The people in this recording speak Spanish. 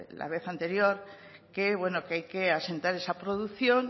la vez anterior que hay que asentar esa producción